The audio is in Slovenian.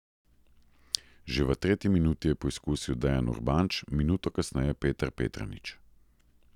Že v tretji minuti je poizkusil Dejan Urbanč, minuto kasneje Petar Petranić.